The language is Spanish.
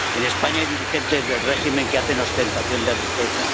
En España hay dirigentes del régimen que hacen ostentación de riqueza.